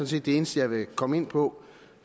set det eneste jeg vil komme ind på